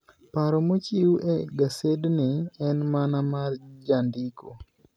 Paro mochiw e gasedni en mana mar jandiko.